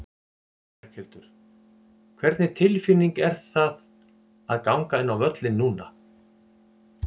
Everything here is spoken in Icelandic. Berghildur: Hvernig tilfinning er það fá að ganga inn á völlinn núna?